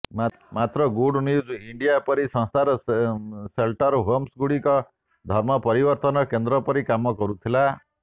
ମାତ୍ର good news India ପରି ସଂସ୍ଥାଙ୍କ ସେଲ୍ଟର୍ ହୋମ୍ଗୁଡ଼ିକ ଧର୍ମ ପରିବର୍ତ୍ତନର କେନ୍ଦ୍ର ପରି କାମ କରୁଥିଲା